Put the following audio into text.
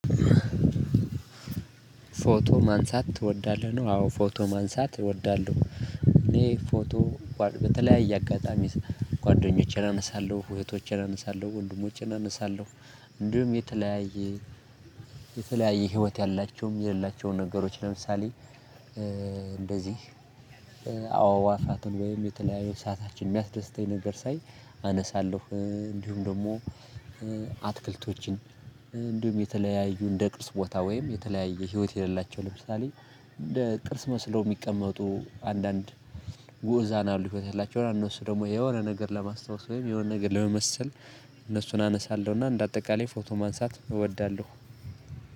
ፎቶ ማንሳት ትወዳለህ ነው? አዎ ፎቶ ማንሳት እወዳለሁ። እኔ ፎቶ በተለያየ አጋጣሚ ጓደኞቼን አነሳለሁ እህቶቼን አነሳለሁ ወንድሞቼን አነሳለሁ። እንዲሁም የተለያየ ህይወት ያላቸውም የሌላቸውን ነገሮች ለምሳሌ እንደዚህ አዕዋፋትን ወይም የተለያዩ ሰዓታችን የሚያስደስተኝ ነገር ሳይ አነሳለሁ። እንዲሁም ደግሞ አትክልቶችን እንዲሁም የተለያዩ እንደ ቅርስ ቦታ ወይም የተለያየ ህይወት የሌላቸው ለምሳሌ እንደ ቅርስ መስለው የሚቀመጡ አንዳንድ ውእዛን አሉት ያላቸውን እነሱ ደግሞ የሆነ ነገር ለማስታወስ ወይም የሆነ ነገር ለመመሰል። እነሱን አነሳለሁና እንደ አጠቃላይ ፎቶ ማንሳት እወዳለሁ።